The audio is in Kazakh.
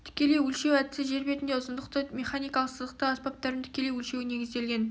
тікелей өлшеу әдісі жер бетінде ұзындықты механикалық сызықтық аспаптармен тікелей өлшеуге негізделген